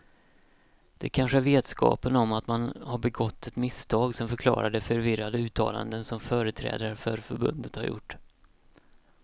Det kanske är vetskapen om att man har begått ett misstag som förklarar de förvirrade uttalanden som företrädare för förbundet har gjort.